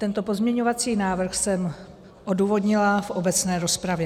Tento pozměňovací návrh jsem odůvodnila v obecné rozpravě.